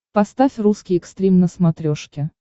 поставь русский экстрим на смотрешке